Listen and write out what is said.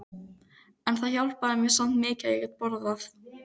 En það hjálpaði mér samt mikið að ég gat borðað.